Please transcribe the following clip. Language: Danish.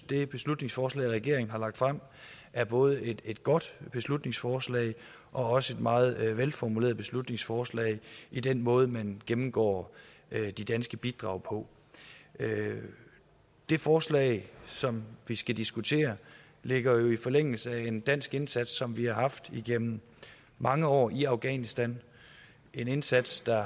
det beslutningsforslag regeringen har lagt frem er både et godt beslutningsforslag og et meget velformuleret beslutningsforslag i den måde man gennemgår de danske bidrag på det forslag som vi skal diskutere ligger jo i forlængelse af en dansk indsats som vi har haft igennem mange år i afghanistan en indsats der